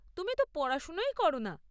তুমি তো পড়াশোনাই কর না।